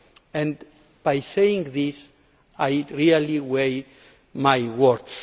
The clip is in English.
And in saying this I really weigh my words.